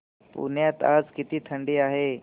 पुण्यात आज किती थंडी आहे